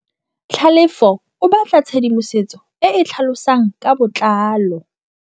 Tlhalefô o batla tshedimosetsô e e tlhalosang ka botlalô.